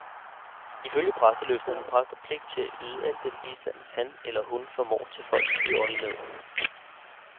Ifølge præsteløftet har præster pligt til at yde al den bistand han eller hun formår til folk i åndelig nød.